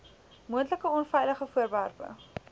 moontlike onveilige voorwerpe